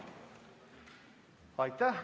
Aitäh!